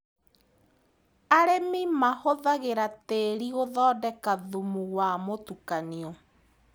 Arĩmi mahũthagĩra tĩri gũthondeka thumu wa mũtukanio.